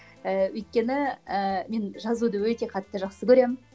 ііі өйткені і мен жазуды өте қатты жақсы көремін